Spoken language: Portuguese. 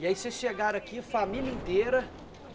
E aí vocês chegaram aqui, família inteira?